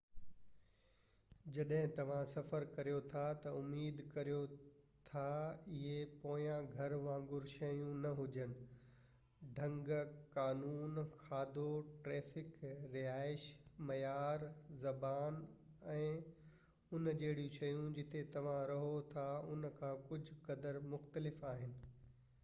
جڏهن توهان سفر ڪريو ٿا تہ اميد ڪريو ٿا اهي پويان گهر وانگر شيون نہ هجن ڍنگ قانون کاڌو ٽرئفڪ رهائش معيار زبان ۽ ان جهڙيون شيون جتي توهان رهو ٿا ان کان ڪجهہ قدر مختلف آهن